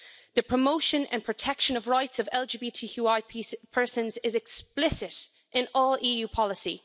The promotion and protection of rights of LGBTQI persons is explicit in all EU policy.